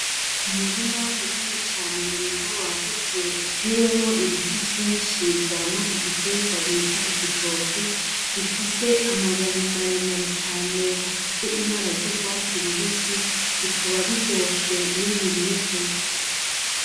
Umurima munini cane mwiza wagutse utewemwo ibiti vyinshi vyama igitegwa bita igitoke, bifise amababi maremare cane afise ibara ry'ugwatsi rubisi, bikaba biryoshe iyo biribwe.